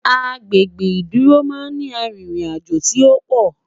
Agbègbè ìdúró má n ni àrin rìn àjọ tí òpò